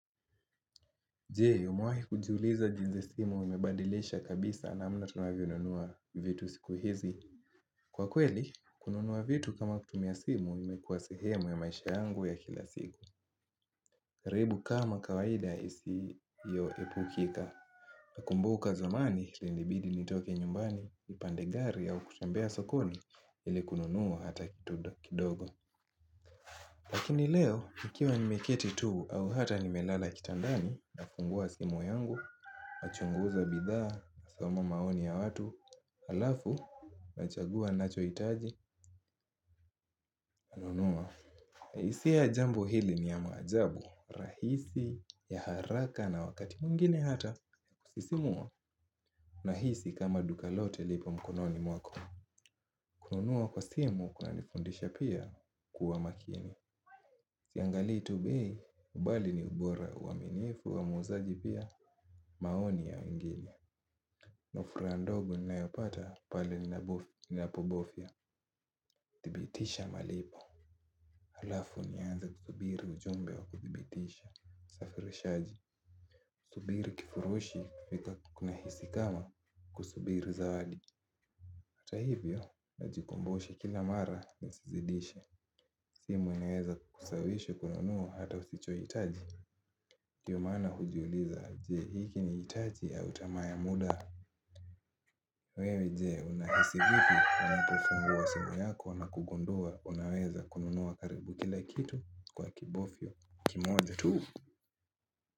Je umewahi kujiuliza jinsi simu wamebadilisha kabisa namna tunavyo nunua vitu siku hizi. Kwa kweli kununua vitu kama kutumia simu imekua sehemu ya maisha yangu ya kila siku. Karibu kama kawaida isiyoepukika. Nakumbuka zamani ilinibidi nitoke nyumbani nipande gari au kutembea sokoni ili kununua hata kidogo. Lakini leo nikiwa nimeketi tu au hata nimelala kitandani nafungua simu yangu nachunguza bidhaa nasoma maoni ya watu halafu nachagua nachohitaji hisia ya jambo hili ni ya maajabu rahisi ya haraka na wakati mwingine hata kusisimua nahisi kama duka lote lipo mkononi mwako. Kununua kwa simu kunanifundisha pia kuwa makini. Siangalii tu bei ubali ni ubora uaminifu wa muuzaji pia maoni ya wengine na furaha ndogo ninayopata pale ninapobofya thibitisha malipo. Halafu nianze kusubiri ujumbe wa kudhibitisha usafirishaji kusubiri kifurushi kunahisi kama kusubiri zawadi. Hata hivyo najikumbusha kila mara nisizidishe. Simu inaweza kukusawishi kununua hata usichohitaji ndio maana hujiuliza je hiki nihitaji au tamaa ya muda. Wewe je unahisi vipi unapofungua simu yako nakugundua unaweza kununua karibu kila kitu kwa kibofyo kimoja tu.